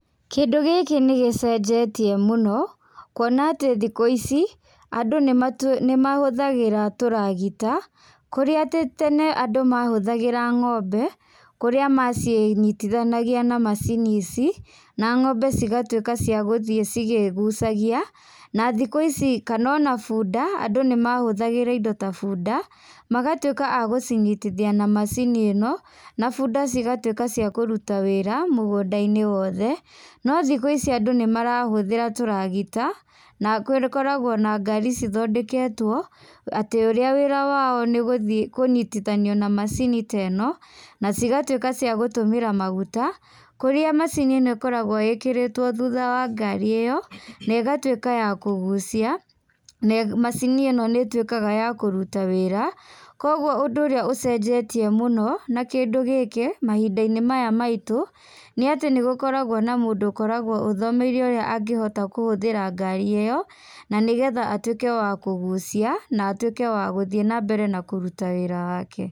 Kĩndũ gĩkĩ nĩgĩcenjetie mũno, kuona atĩ thikũ ici, andũ nĩmatu nĩmahũthagĩra tũragita, kũrĩa tĩ tene andũ mahũthagĩra ngombe, kũrĩa macinyitithanagia na macini ici, na ngombe cigatuĩka cia gũthiĩ cigĩgũcagia, na thikũ ici kana ona bunda, andũ nĩmahũthagĩra indo ta bunda, magatuĩka a gũcinyitithia na macini ĩno, na bunda cigatuĩka cia kũruta wĩra, mũgũndainĩ wothe, no thikũ ici andũ nĩmarahũthĩra tũragita, na gũkoragwo na ngari cithondeketwo atĩ ũrĩa wĩra wao nĩgũthiĩ kũnyitithania na macini ta ĩno, na cigatuĩka cia gũtũmĩra maguta, kũrĩa macini ĩno ĩkoragwo ĩkirĩtwo thutha wa ngari ĩyo, na ĩgatuĩka ya kũgucia, na macini ĩno nĩtuĩkaga ya kũruta wĩra, koguo ũndũ ũrĩa ũcenjetie mũno, na kĩndũ gĩkĩ, mahindainĩ maya maitũ, nĩ atĩ nĩgũkoragwo na mũndũ ũkorũgwo ũthomeire ũrĩa angĩhota kũhũthĩra ngari ĩyo, nanĩgetha atuĩke wa kũgucia, na atuĩke wa gũthiĩ nambere kũruta wĩra wake.